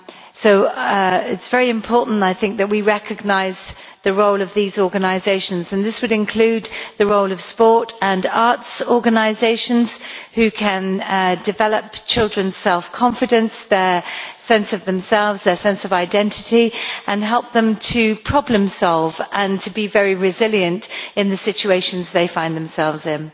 So it is very important that we recognise the role of these organisations, and this would include the role of sport and arts organisations which can develop children's self confidence, their sense of themselves, their sense of identity and help them to problem solve and to be very resilient in the situations they find themselves in.